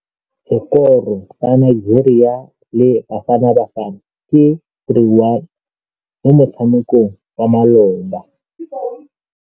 Sekôrô sa Nigeria le Bafanabafana ke 3-1 mo motshamekong wa malôba.